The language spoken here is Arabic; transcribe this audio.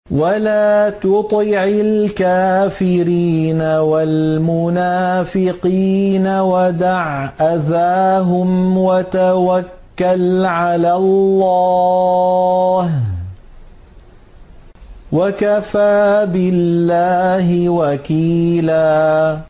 وَلَا تُطِعِ الْكَافِرِينَ وَالْمُنَافِقِينَ وَدَعْ أَذَاهُمْ وَتَوَكَّلْ عَلَى اللَّهِ ۚ وَكَفَىٰ بِاللَّهِ وَكِيلًا